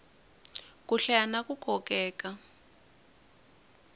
ku hlaya na ku kokeka